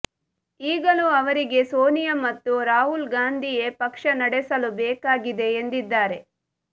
ಈಗಲೂ ಅವರಿಗೆ ಸೋನಿಯಾ ಮತ್ತು ರಾಹುಲ್ ಗಾಂಧಿಯೇ ಪಕ್ಷ ನಡೆಸಲು ಬೇಕಾಗಿದೆ ಎಂದಿದ್ದಾರೆ